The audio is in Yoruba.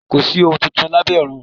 Kò sí ohun tuntun lábẹ́ ọrùn.